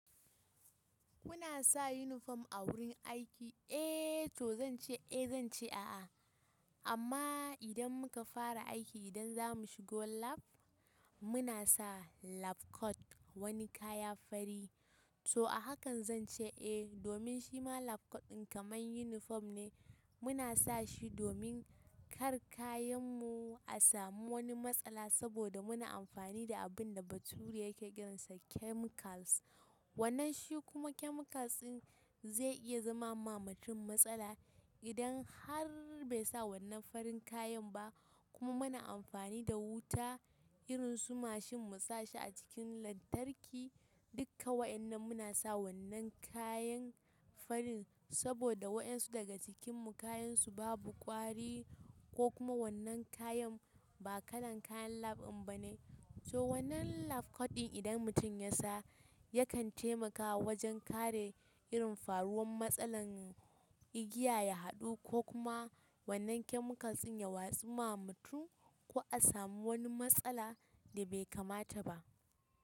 Kuna sa uniform a gurin aiki? Eh toh zan ce eh zan ce a'a. Amma idan muka fara aiki idan za mu shigo lab muna sa lab coat wani kaya fari. So a hakan zan ce eh domin shima lab coat ɗin kamar uniform ne muna sa shi domin kar kayanmu a samu wani matsala saboda muna amfani da abin da bature yake ƙiransa chemicals. Wannan shi kuma chemicals ɗin zai iya zama ma mutum matsala idan har bai sa wannan farin kayan ba kuma muna amfani da wuta irin su mashin mu sa shi a cikin lantarki dukka waɗannan muna sa wannan kayan farin saboda waɗansu daga cikinmu kayansu babu ƙwari ko kuma wannan kayan ba kalan kayan lab ɗin ba ne. So wannan lab coat ɗin idan mutum ya sa yakan taimakawa wajen kare irin faruwan matsalan igiya ya haɗu ko kuma wannan chemicals ɗin ya watsu ma mutum ko a samu wani matsala da bai kamata ba.